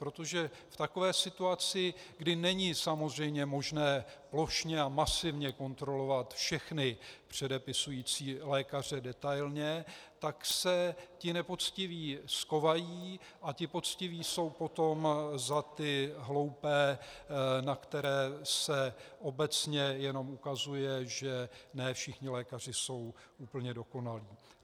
Protože v takové situaci, kdy není samozřejmě možné plošně a masivně kontrolovat všechny předepisující lékaře detailně, tak se ti nepoctiví schovají a ti poctiví jsou potom za ty hloupé, na které se obecně jenom ukazuje, že ne všichni lékaři jsou úplně dokonalí.